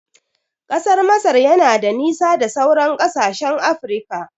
Ƙasar Masar yana da nisa da sauran kasashen Afirika